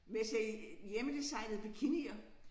Med at sælge hjemmedesignede bikinier